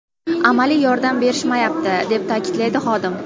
Amaliy yordam berishmayapti”, deb ta’kidlaydi xodim.